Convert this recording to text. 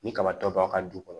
Ni kaba tɔ b'a ka du kɔnɔ